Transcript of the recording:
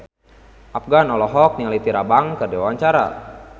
Afgan olohok ningali Tyra Banks keur diwawancara